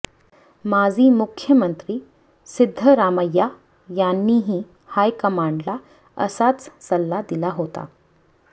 माजी मुख्यमंत्री सिद्धरामय्या यांनीही हायकमांडला असाच सल्ला दिला होता